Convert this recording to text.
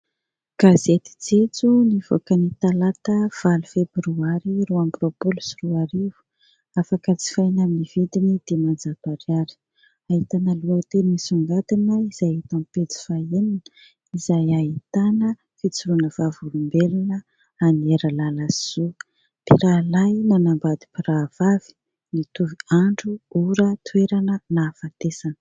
Gazety "jejoo" nivoaka ny talata valo febroary roa amby roapolo sy roa arivo, afaka jifaina amin'ny vidiny dimanjato ariary. Ahitana lohateny nisongadina izay hita eo amin'ny pejy fahaenina izay ahitana fijoroana vavolombelona an'i Herilalasoa "mpirahalahy nanambady mpirahavavy nitovy andro, ora, toerana nahafatesana..."